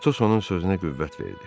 Atos onun sözünə qüvvət verdi.